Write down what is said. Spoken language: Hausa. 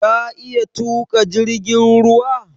Ka iya tuƙa jirgin ruwa?